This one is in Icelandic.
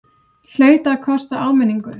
Hlaut að kosta áminningu!